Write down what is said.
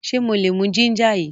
Ṣe mo lè mú ginger yìí?